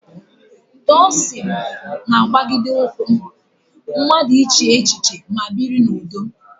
Taoism na-agbagide ụkwụ mmadụ ịche echiche ma biri n'udo.